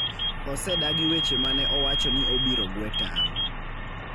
osedagi weche ma ne owacho ni obiro gwe tao